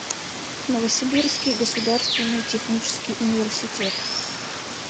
новосибирский государственный технический университет